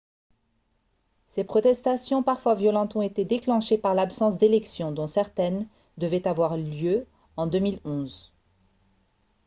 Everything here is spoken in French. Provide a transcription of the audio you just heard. ces protestations parfois violentes ont été déclenchées par l'absence d'élections dont certaines devaient avoir lieu en 2011